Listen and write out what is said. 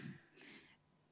Aitäh!